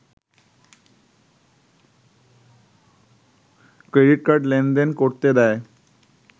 credit card লেনদেন করতে দেয়